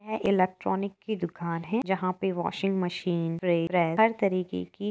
यह इलेक्ट्रॉनिक की दुकान है। जहां पर वाशिंग मशीन हर तरह की --